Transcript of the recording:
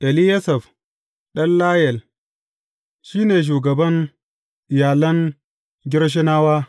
Eliyasaf ɗan Layel shi ne shugaban iyalan Gershonawa.